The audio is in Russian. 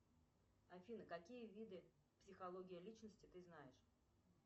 афина какие виды психология личности ты знаешь